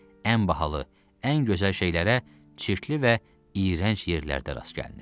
Ən bahalı, ən gözəl şeylərə çirkli və iyrənc yerlərdə rast gəlinir.